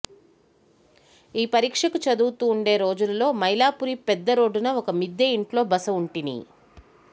యే పరీక్షకు చదువుతూ వుండే రోజులలో మైలాపురి పెద్ద రోడ్డున ఒక మిద్దె యింట్లో బస వుంటిని